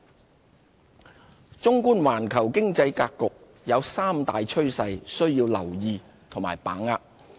環球經濟格局綜觀環球經濟格局，有三大趨勢需要留意和把握。